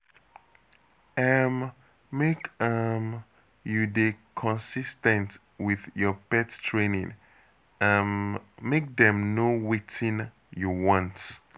um Make um you dey consis ten t wit your pet training, um make dem know wetin you want.